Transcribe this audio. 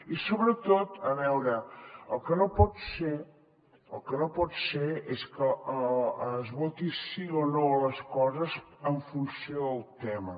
i sobretot a veure el que no pot ser el que no pot ser és que es voti sí o no a les coses en funció del tema